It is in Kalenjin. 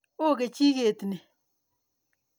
Oo kechiket ni.